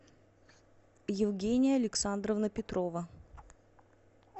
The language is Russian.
евгения александровна петрова